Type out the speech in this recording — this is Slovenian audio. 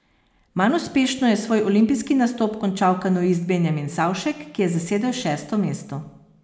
Manj uspešno je svoj olimpijski nastop končal kanuist Benjamin Savšek, ki je zasedel šesto mesto.